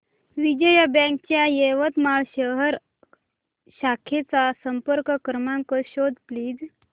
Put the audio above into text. Vijaya bank च्या यवतमाळ शहर शाखेचा संपर्क क्रमांक शोध प्लीज